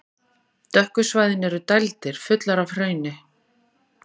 Dökku svæðin eru dældir, fullar af hrauni.